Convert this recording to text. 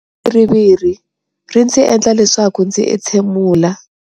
Viriviri ri ndzi endla leswaku ndzi entshemula.